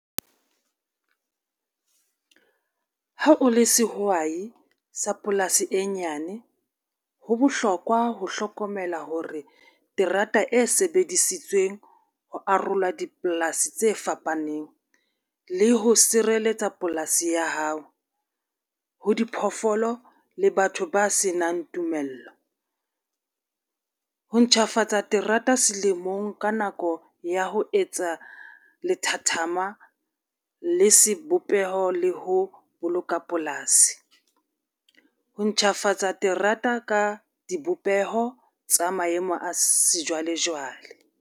Ha o le sehwai sa polasi e nyane, ho bohlokwa ho hlokomela hore terata e sebedisitsweng ho arolwa dipolasi tse fapaneng le ho sireletsa polasi ya hao, ho diphoofolo le batho ba senang tumello. Ho ntjhafatsa terata selemong ka nako ya ho etsa lethathama le sebopeho le ho boloka polasi. Ho ntjhafatsa terata ka dipopeho tsa maemo a sejwalejwale.